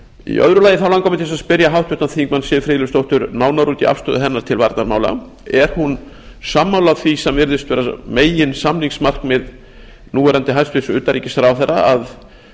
í öðru lagi langar mig til þess að spyrja háttvirtan þingmann siv friðleifsdóttur nánar út í afstöðu hennar til varnarmála er hún sammála því sem virðist vera meginsamningsmarkmið núv hæstvirts utanríkisráðherra að